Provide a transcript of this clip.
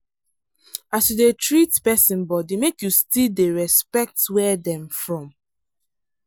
as you dey treat person body make you still respect where dem from.